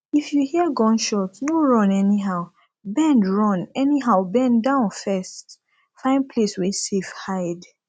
if you hear gunshot no run anyhow bend run anyhow bend down first find place wey safe hide